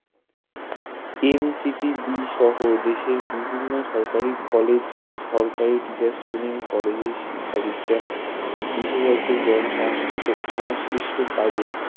NCTB সহ দেশের বিভিন্ন সরকারি কলেজ সরকারি Teachers training কলেজের শিক্ষাবিজ্ঞান বিশেষজ্ঞগন সংশ্লিষ্ট কাজে